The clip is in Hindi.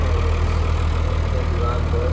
और इस मिल के दीवाल पर--